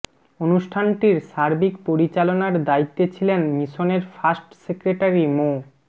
অনুষ্ঠানটির সার্বিক পরিচালনার দায়িত্বে ছিলেন মিশনের ফার্স্ট সেক্রেটারি মো